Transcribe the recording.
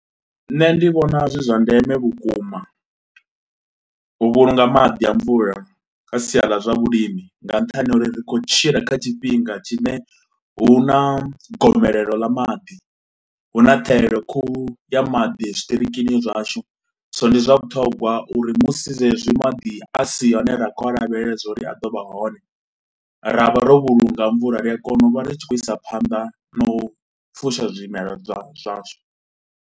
Nṋe ndi vhona zwi zwa ndeme vhukuma u vhulunga maḓi a mvula, kha sia ḽa zwa vhulimi nga nṱhani ha uri ri khou tshila kha tshifhinga tshine hu na gomelelo ḽa maḓi. Hu na ṱhaelelo khuhu ya maḓi zwitiriki zwashu so ndi zwa vhuṱhogwa uri musi zwezwi madi a si yone ra kho lavhelela zwauri a do vha hone ra vha ro vhulunga a mvula, ri a kona u vha ri tshi khou isa phanḓa na u fusha zwimelwa zwashu.